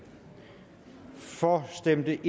for stemte